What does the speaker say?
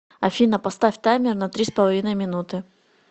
афина поставь таймер на три с половиной минуты